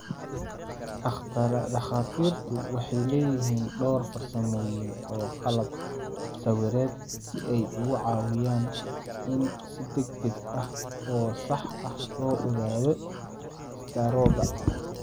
Dhakhaatiirtu waxay leeyihiin dhowr farsamooyin iyo qalab sawireed si ay uga caawiyaan in si degdeg ah oo sax ah loo ogaado istaroogga.